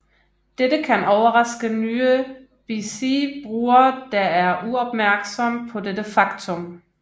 Dette kan overraske nye bc brugere der er uopmærksom på dette faktum